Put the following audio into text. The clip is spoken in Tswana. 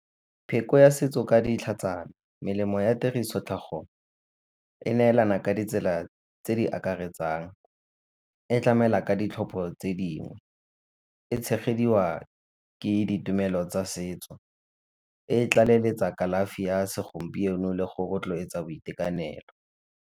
Pheko ya setso ka dintlha tsa me, melemo ya tiriso tlhagong e neelana ka ditsela tse di akaretsang, e tlamela ka ditlhopho tse dingwe, e tshegediwa ke ditumelo tsa setso, e tlaleletsa kalafi ya segompieno le go rotloetsa boitekanelo.